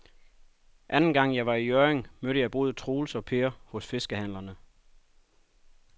Anden gang jeg var i Hjørring, mødte jeg både Troels og Per hos fiskehandlerne.